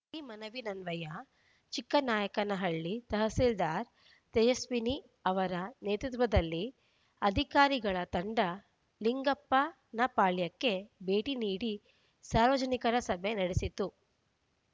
ಈ ಮನವಿಯನ್ವಯ ಚಿಕ್ಕನಾಯಕನಹಳ್ಳಿ ತಹಶೀಲ್ದಾರ್ ತೇಜಸ್ವಿನಿ ಅವರ ನೇತೃತ್ವದಲ್ಲಿ ಅಧಿಕಾರಿಗಳ ತಂಡ ಲಿಂಗಪ್ಪನಪಾಳ್ಯಕ್ಕೆ ಭೇಟಿ ನೀಡಿ ಸಾರ್ವಜನಿಕರ ಸಭೆ ನಡೆಸಿತು